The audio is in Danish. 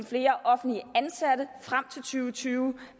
flere offentligt ansatte frem tusind og tyve